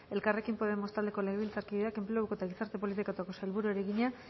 elkarrekin podemos taldeko legebiltzarkideak enpleguko eta gizarte politiketako sailburuari egina